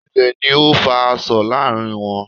Ilè ni o fa asọ̀ láàrin wọn